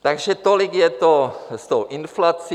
Takže tolik je to s tou inflací.